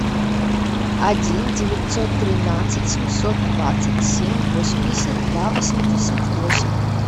один девятьсот тринадцать семьсот двадцать семь восемьдесят два восемьдесят восемь